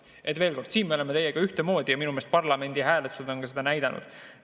Veel kord, siin me teiega ühtemoodi ja minu meelest parlamendi hääletused on ka seda näidanud.